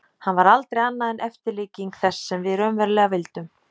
Hann var aldrei annað en eftirlíking þess sem við raunverulega vildum.